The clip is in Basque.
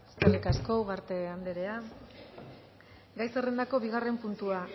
eskerrik asko ugarte andrea gai zerrendako bigarren puntua